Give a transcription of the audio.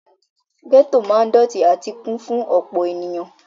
Gẹ́tò ma ń dọ̀tí àti kún fún ọ̀pọ̀ ènìyàn.